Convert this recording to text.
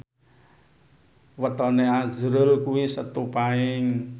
wetone azrul kuwi Setu Paing